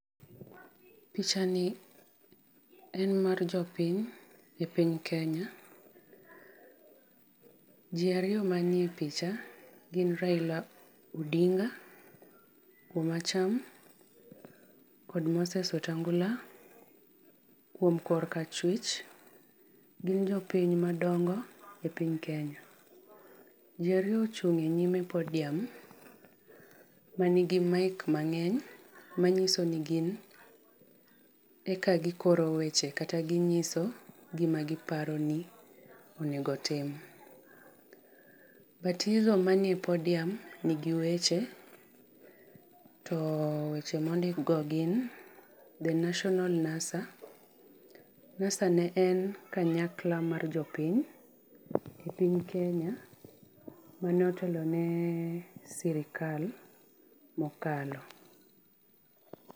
Pichani en mar jopiny, e piny Kenya. Ji ariyo manie picha gin Raila Odinga kuom acham kod Moses Wetangula kuom kor ka achwich. Gin jopiny madongo e piny Kenya. Ji ariyo ochung' e nyime podium manigi mic mang'eny manyiso ni gin eka gikoro weche kata ginyiso gima giparo ni onego otim. manie podium nigi weche to weche mondikgo gin, The Nationa NASA.NASA ne en kanyakla mar jopiny e piny Kenya , mane otelone sirikal mokalo.